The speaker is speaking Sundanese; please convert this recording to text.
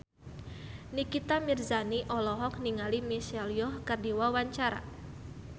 Nikita Mirzani olohok ningali Michelle Yeoh keur diwawancara